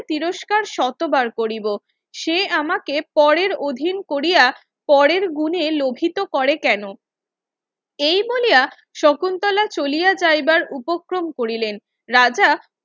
তিরস্কার শতবার কৰিব সে আমাকে পরের অধীন কোরিয়া পরের গুনে লোভিত করে কেন এইবলিয়া শকুন্তলা চলিয়া যাইবার উপক্রম করিলেন রাজা